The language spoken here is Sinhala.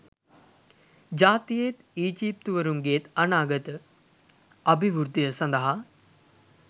ජාතියේත් ඊජිප්තුවරුන්ගේත් අනාගත අභිවෘද්ධිය සඳහා